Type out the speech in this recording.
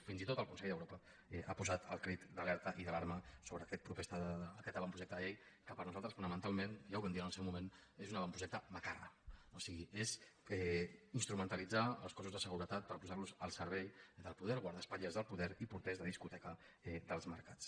fins i tot el consell d’europa ha posat al crit d’alerta i d’alarma sobre aquest avantprojecte de llei que per nosaltres fonamentalment ja ho vam dir en el seu moment és un avantprojecte macarra o sigui és instrumentalitzar els cossos de seguretat per posar los al servei del poder guardaespatlles del poder i porters de discoteca dels mercats